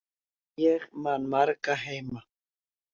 Ég man marga heima.